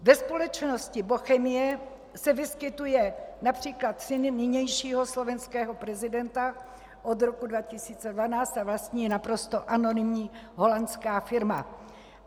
Ve společnosti Bochemie se vyskytuje například syn nynějšího slovenského prezidenta od roku 2012 a vlastní ji naprosto anonymní holandská firma.